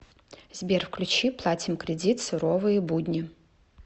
сбер включи платим кредит суровые будни